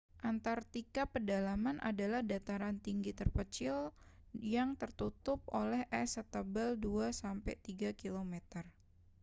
antarktika pedalaman adalah dataran tinggi terpencil yang tertututup oleh es setebal 2-3 km